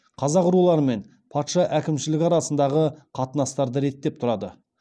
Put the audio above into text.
қазақ руларымен патша әкімшілігі арасындағы қатынастарды реттеп тұрады